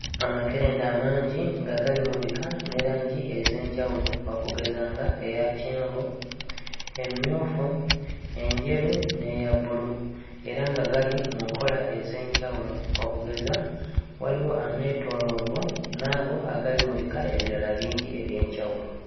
Amakerenda amangi nga gali mu bika ne langi ez'enjawulo okugeza nga eya kyenvu, emmyufu, enjeru n'eya bbulu era nga gali mu nkola ez'enjawulo okugeza; waliwo ameetooloovu n'ago agali mu bika ebirala bingi eby'enjawulo.